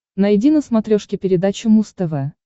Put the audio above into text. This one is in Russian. найди на смотрешке передачу муз тв